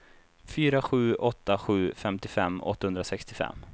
fyra sju åtta sju femtiofem åttahundrasextiofem